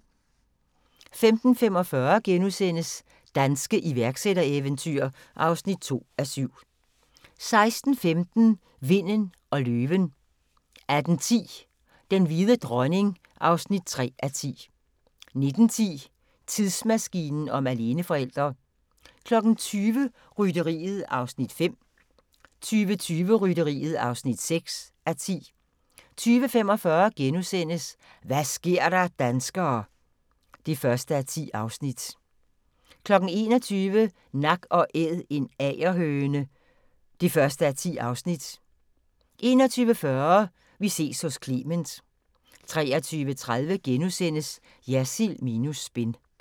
15:45: Danske iværksættereventyr (2:7)* 16:15: Vinden og løven 18:10: Den hvide dronning (3:10) 19:10: Tidsmaskinen om aleneforældre 20:00: Rytteriet (5:10) 20:20: Rytteriet (6:10) 20:45: Hva' sker der danskere (1:10)* 21:00: Nak & Æd – en agerhøne (1:10) 21:40: Vi ses hos Clement 23:30: Jersild minus spin *